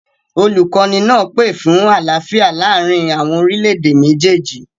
Olukọni naa pe fun alaafia laarin awọn orilẹ-ede mejeeji